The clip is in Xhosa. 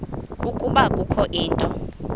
ukuba kukho into